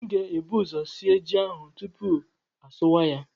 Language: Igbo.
M ga-ebu ụzọ sie ji ahụ tupu m asụwa ya